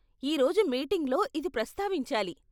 ఈ రోజు మీటింగ్లో ఇది ప్రస్తావించాలి.